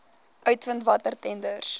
uitvind watter tenders